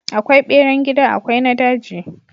Akwai beran gida akwai na daji.